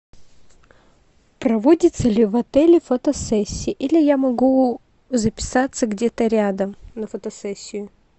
проводится ли в отеле фотосессия или я могу записаться где то рядом на фотосессию